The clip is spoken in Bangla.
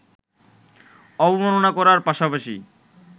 অবমাননা করার পাশাপাশি